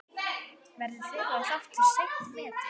Verður þeirra þáttur seint metinn.